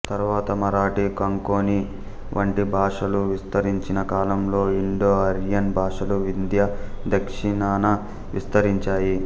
తరువాత మరాఠీ కొంకణి వంటి భాషలు విస్తరించిన కాలంలో ఇండోఆర్యన్ భాషలు వింధ్య దక్షిణాన విస్తరించాయి